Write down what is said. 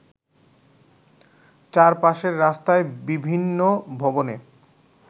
চারপাশের রাস্তায় বিভিন্ন ভবনে